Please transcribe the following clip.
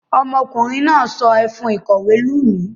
Ọmọkùnrin náà sọ ẹfun ìkọ̀wé lù mí.